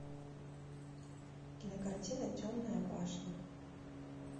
кинокартина темная башня